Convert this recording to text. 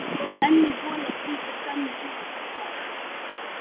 Önnur hola fylgdi skömmu síðar.